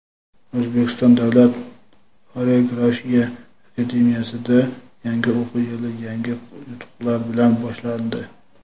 O‘zbekiston davlat xoreografiya akademiyasida yangi o‘quv yili yangi yutuqlar bilan boshlandi.